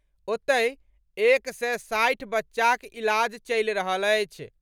ओतहि, एक सय साठि बच्चाक इलाज चलि रहल अछि।